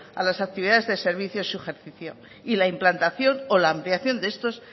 a las actividades de servicio y su ejercicio y la implantación o la ampliación de estos